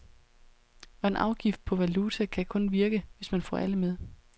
Og en afgift på valuta kan kun virke, hvis man får alle med.